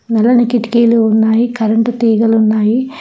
నల్లని కిటికీలు ఉన్నాయి కరెంటు తీగలు ఉన్నాయి.